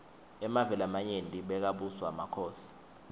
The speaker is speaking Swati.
emave lamanyenti bekabuswa makhosi